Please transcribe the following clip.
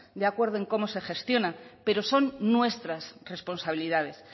de acuerdo cómo se gestiona pero son nuestras responsabilidades